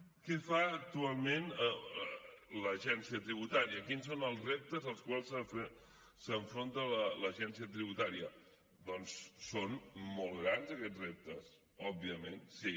què fa actualment l’agència tributària quins són els reptes als quals s’enfronta l’agència tributària doncs són molt grans aquests reptes òbviament sí